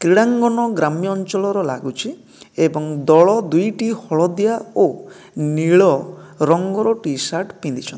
କ୍ରୀଡ଼ାଙ୍ଗନ୍ ଗ୍ରାମ୍ୟ ଅଞ୍ଚଳର ଲାଗୁଛି ଏବଂ ଦଳ ଦୁଇଟି ହଳଦିଆ ଓ ନୀଳ ରଙ୍ଗର ଟି-ସାର୍ଟ ପିନ୍ଧିଛନ୍ତି।